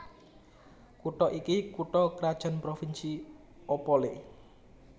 Kutha iki kutha krajan provinsi Opole